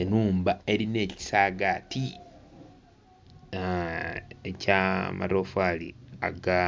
Ennhumba elina ekisaagati ekya amatofaali aga